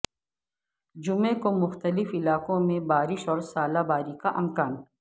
جمعے کو مختلف علاقوں میں بارش اور ژالہ باری کا امکان